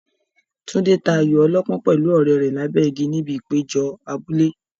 Tunde ta ayo ọlọ́pọ́n pẹ̀lú ọ̀rẹ́ rẹ̀ lábẹ́ igi níbi ìpéjọ abúlé.